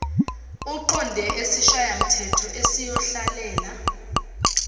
uqonde esishayamthetho esiyohlalela